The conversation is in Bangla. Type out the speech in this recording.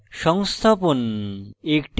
সংস্থাপন